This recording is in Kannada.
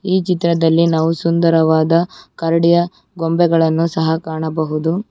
ಈ ಚಿತ್ರದಲ್ಲಿ ನಾವು ಸುಂದರವಾದ ಕರಡಿಯ ಗೊಂಬೆಗಳನ್ನು ಸಹ ಕಾಣಬಹುದು.